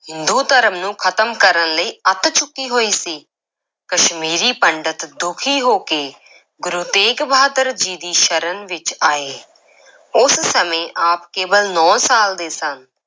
ਹਿੰਦੂ ਧਰਮ ਨੂੰ ਖਤਮ ਕਰਨ ਲਈ ਅੱਤ ਚੁੱਕੀ ਹੋਈ ਸੀ, ਕਸ਼ਮੀਰੀ ਪੰਡਤ ਦੁਖੀ ਹੋ ਕੇ ਗੁਰੂ ਤੇਗ ਬਹਾਦਰ ਜੀ ਦੀ ਸ਼ਰਨ ਵਿੱਚ ਆਏ ਉਸ ਸਮੇਂ ਆਪ ਕੇਵਲ ਨੌਂ ਸਾਲ ਦੇ ਸਨ।